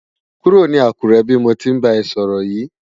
Kúró ni Akure bi mó ti nbá è sòrò yi